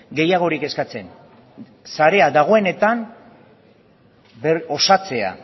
gehiagorik eskatzen sarea dagoenetan osatzea